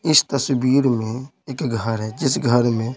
इस तस्वीर में एक घर है जिस घर में--